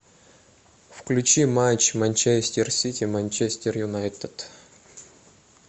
включи матч манчестер сити манчестер юнайтед